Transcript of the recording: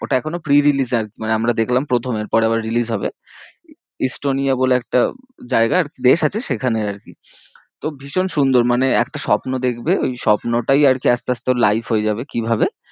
ওটা এখনও pre release আর মানে আমরা দেখলাম প্রথমে এর পরে আবার release হবে ইস্তোনিয়া বলে একটা জায়গা আর কি দেশ আছে সেখানে আর কি তো ভীষণ সুন্দর মানে একটা স্বপ্ন দেখবে ওই স্বপ্নটাই আর কি আস্তে আস্তে ওর life হয়ে যাবে কিভাবে